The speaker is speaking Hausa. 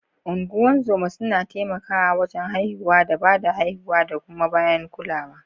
Ungozoma suna taimakawa wajen haihuwa da ba da haihuwa da kuma bayan kulawa.